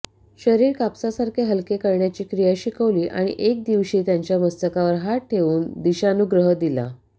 शरीर कापसासारखे हलके करण्याची क्रिया शिकवली आणि एके दिवशी त्याच्या मस्तकावर हात ठेवून दीक्षानुग्रह दिला